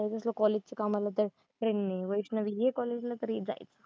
जसं college चं काम आलं तर train नी वैष्णवी ये college ला तर हे जाईल